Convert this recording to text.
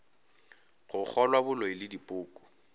go kgolwa boloi le dipoko